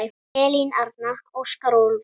Elín Arna, Óskar og Úlfur.